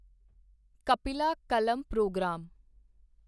Kapila Kalam programme